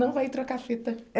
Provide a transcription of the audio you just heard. Não vai trocar fita.